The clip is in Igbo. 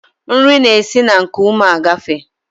Nri na-esi n'nkuume agafee